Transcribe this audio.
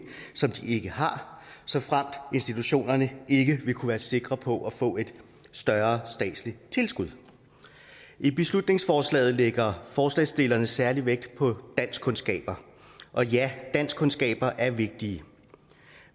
som de ikke har såfremt institutionerne ikke vil kunne være sikre på at få et større statsligt tilskud i beslutningsforslaget lægger forslagsstillerne særlig vægt på danskkundskaber og ja danskkundskaber er vigtige